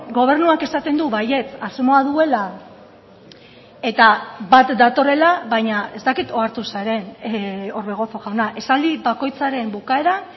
gobernuak esaten du baietz asmoa duela eta bat datorrela baina ez dakit ohartu zaren orbegozo jauna esaldi bakoitzaren bukaeran